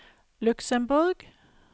Luxemborg